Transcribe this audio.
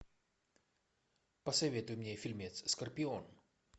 посоветуй мне фильмец скорпион